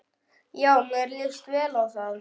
Já, mér líst vel á það.